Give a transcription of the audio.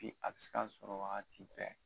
a bɛ se ka sɔrɔ wagati bɛɛ